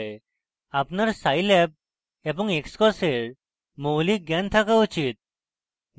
আপনার scilab এবং xcos এর মৌলিক জ্ঞান থাকা উচিত